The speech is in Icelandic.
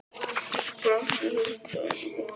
brotnaði í þúsund og einn mola.